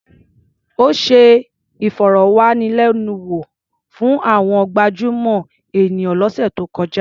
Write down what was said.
Ó ṣe ìfọ̀rọ̀wánilẹ́nuwò fún àwọn gabjúmọ̀ ènìyàn lọ́sẹ̀ tó kọjá.